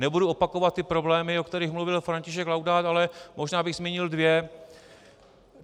Nebudu opakovat ty problémy, o kterých mluvil František Laudát, ale možná bych zmínil dva.